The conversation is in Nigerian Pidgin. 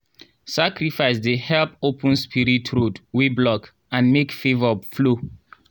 sacrifice dey help open spirit road wey block and make favour flow.